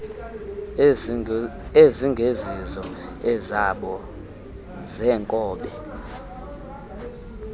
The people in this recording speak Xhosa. ezingezizo ezabo zeenkobe